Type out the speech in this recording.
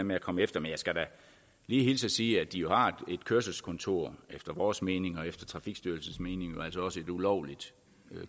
med at komme efter men jeg skal da lige hilse og sige at de jo har et kørselskontor efter vores mening og efter trafikstyrelsen mening også et ulovligt